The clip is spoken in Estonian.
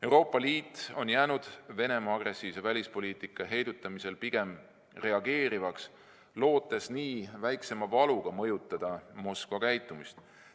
Euroopa Liit on jäänud Venemaa agressiivse välispoliitika heidutamisel pigem reageerivaks, lootes nii väiksema valuga mõjutada Moskva käitumist.